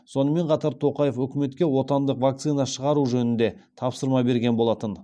сонымен қатар тоқаев үкіметке отандық вакцина шығару жөнінде тапсырма берген болатын